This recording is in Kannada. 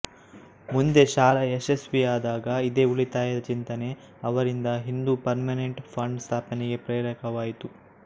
ಮುಂದೆ ಶಾಲೆ ಯಶಸ್ವಿಯಾದಾಗ ಇದೇ ಉಳಿತಾಯದ ಚಿಂತನೆ ಅವರಿಂದ ಹಿಂದೂ ಪರ್ಮನೆಂಟ್ ಫಂಡ್ ಸ್ಥಾಪನೆಗೆ ಪ್ರೇರಕವಾಯಿತು